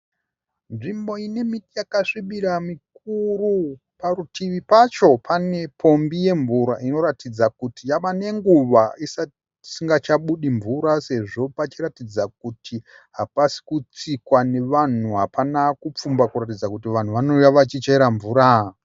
Nzvimbo ine miti yakasvibira mikuru. Parutivi pacho pane pombi yemvura inoratidza kuti yave nenguva isingachabudi mvura sezvo pachiratidza kuti hapasi kutsikwa nevanhu hapana kupfumba kuratidza kuti vanhu vanouya vachichera mvura.